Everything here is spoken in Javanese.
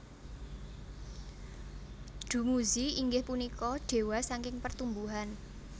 Dummuzi inggih punika dewa saking pertumbuhan